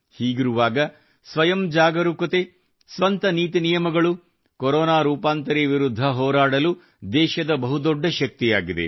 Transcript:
ಹೀಗಿರುವಾಗ ಸ್ವಯಂ ಜಾಗರೂಕತೆ ಸ್ವಂತ ನೀತಿ ನಿಯಮಗಳು ಕೊರೊನಾ ರೂಪಾಂತರಿ ವಿರುದ್ಧ ಹೋರಾಡಲು ದೇಶದ ಬಹುದೊಡ್ಡ ಶಕ್ತಿಯಾಗಿದೆ